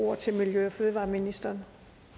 ordet til miljø og fødevareministeren